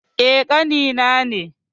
Eh, ƙani na ne.